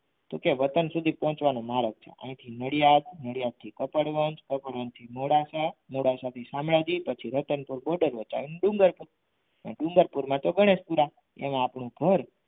તો કે વતન સુધી પહોંચવાનો માર્ગ છે નડિયાદ નડિયાદ થી કપડવંજ કપડવંજ થી મોડાસા મોડાસા થી શામળાજી પછી રતનપુર border વટાવી ડુંગરપુર અને ડુંગરપુરમાં તો ગણેશપુરા એમ આપણે ઘર.